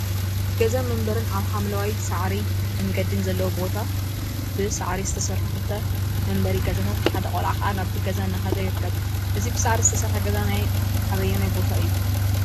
ገዛን መንበሪን አብ ሓምለዋይ ሳዕሪን መንገዲን ዘለዎ ቦ ብሳዕሪ ዝተሰርሑ ክልተ መንበሪ ገዛታት ሓደ ቆልዓ ከዓ ናብቲ ገዛ እናከደ ይርከብ፡፡ እዚ ብሳዕሪ ዝተሰርሐ ገዛ ናይ አበይ ቦታ እዩ?